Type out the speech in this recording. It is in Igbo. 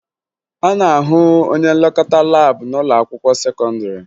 A na-ahụ onye nlekọta laabụ n'ụlọakwụkwọ sekọndịrị